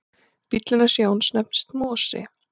Bíllinn hans Jóns nefnist Mosi.